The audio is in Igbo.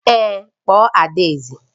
Èé, kpọọ adaeze